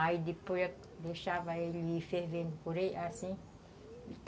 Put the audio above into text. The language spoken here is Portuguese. Aí depois eu deixava ele ir fervendo por, assim.